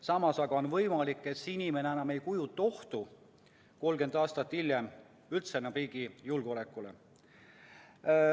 Samas aga on võimalik, et see inimene 30 aastat hiljem üldse enam ei kujuta endast ohtu riigi julgeolekule.